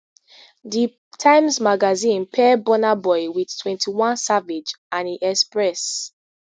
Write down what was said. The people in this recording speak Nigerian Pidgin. di times magazine pair burna boy wit twenty-one savage and e express